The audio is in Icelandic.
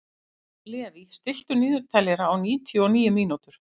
Levý, stilltu niðurteljara á níutíu og níu mínútur.